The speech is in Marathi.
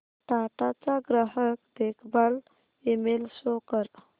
टाटा चा ग्राहक देखभाल ईमेल शो कर